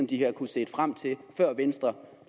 de har kunnet se frem til før venstre